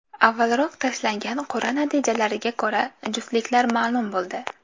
Avvalroq tashlangan qur’a natijalariga ko‘ra, juftliklar ma’lum bo‘ldi.